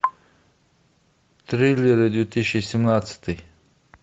триллеры две тысячи семнадцатый